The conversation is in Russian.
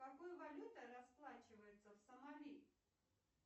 какой валютой расплачиваются в сомали